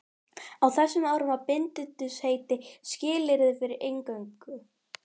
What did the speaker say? Á þessum árum var bindindisheit skilyrði fyrir inngöngu.